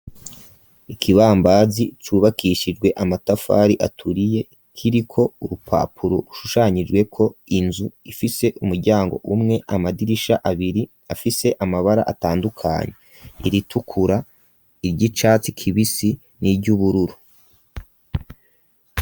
Ikibambazi cubakishijwe amatafari aturiye kiriko urupapuro ushushanyijweko inzu ifise umuryango umwe, amadirisha abiri afise amabara atandukanye iritukura, iryicatsi kibisi niry'ubururu.